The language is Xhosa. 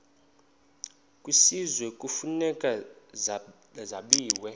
kwisizwe kufuneka zabiwe